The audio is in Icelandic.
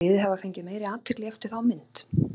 Finnst þér liðið hafa fengið meiri athygli eftir þá mynd?